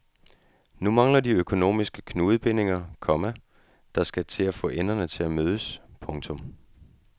Nu mangler kun de økonomiske knudebindinger, komma der skal få enderne til at mødes. punktum